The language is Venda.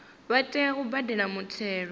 vha tea u badela muthelo